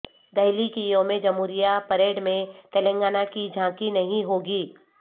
دہلی کی یوم جمہوریہ پریڈ میں تلنگانہ کی جھانکی نہیں ہوگی